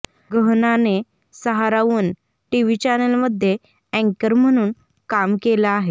गहनाने Sahara one TV चॅनलमध्ये अँकर म्हणून काम केलं आहे